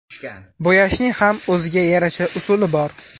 Bo‘yashning ham o‘ziga yarasha usuli bor.